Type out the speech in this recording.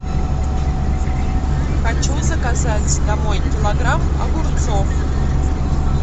хочу заказать домой килограмм огурцов